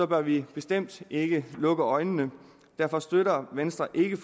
bør vi bestemt ikke lukke øjnene og derfor støtter venstre ikke